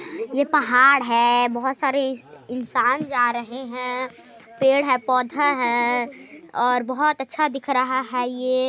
ये पहाड़ है बहुत सारे इंसान जा रहे है पेड़ है पौधे हैं और बहुत अच्छा दिख रहा है ये।